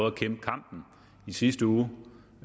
at kæmpe kampen i sidste uge